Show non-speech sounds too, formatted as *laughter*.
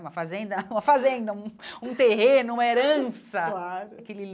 Uma fazenda, uma fazenda, um um terreno, uma herança claro. *unintelligible*